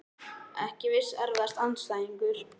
Ekki viss Erfiðasti andstæðingur?